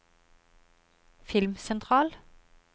filmsentral